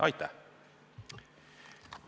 Aitäh!